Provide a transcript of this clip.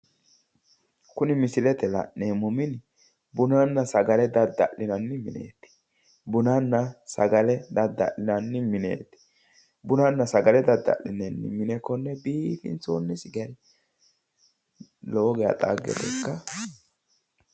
Kuni misilete la'neemmo mini bununna sagale dadda'linanni mineeti bunnanna sagale dadda'linanni mineeti bunnanna sagale dadda'lineemmo mine konne biifinsoonni gari lowo geya xagge ikkanno.